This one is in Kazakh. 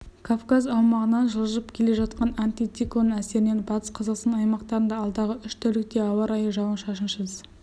кавказ аумағынан жылжып келе жатқан антициклон әсерінен батыс қазақстан аймақтарында алдағы уш тәулікте ауа райы жауын-шашынсыз